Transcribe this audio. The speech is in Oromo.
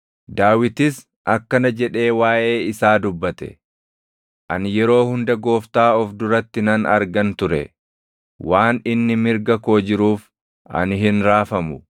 Daawitis akkana jedhee waaʼee isaa dubbate: “ ‘Ani yeroo hunda Gooftaa of duratti nan argan ture. Waan inni mirga koo jiruuf, ani hin raafamu.